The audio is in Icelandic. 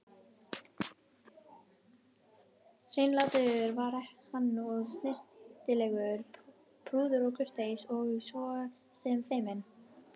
Hreinlátur var hann og snyrtilegur, prúður og kurteis og svo sem feiminn.